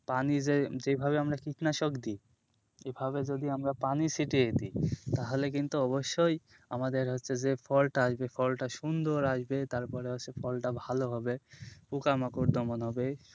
পানি যে যেভাবে আমরা কীটনাশক দিই সেইভাবে যদি আমরা পানি ছিটিয়ে দিই তাহলে কিন্তু অবশ্যই আমাদের হচ্ছে যে ফলটা আসবে ফলটা সুন্দর আসবে তারপরে হচ্ছে ফলটা ভালো হবে পোকামাকড় দমন হবে।